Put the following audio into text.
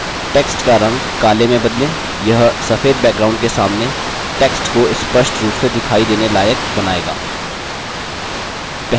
text का रंग काले में बदलें यह सफेद background के सामने text को स्पष्ट रूप से दिखाई देने लायक बनायेगा